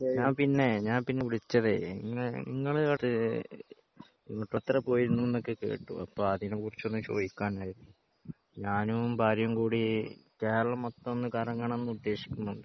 പിന്നെ ഞാൻ പിന്നെ വിളിച്ചതെ ഇങ്ങള് പോയിന്ന് ഒക്കെ കേട്ടു അപ്പൊ അതിനെ കുറിച്ചൊന്നു ചോയ്ക്കാനേർന്നു. ഞാനും ഭാര്യയും കൂടി കേരളം മൊത്തം ഒന്ന് കറങ്ങണം എന്ന് ഉദ്ദേശിക്കുന്നുണ്ട്